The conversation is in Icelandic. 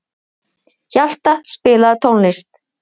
Hjalta, spilaðu tónlist.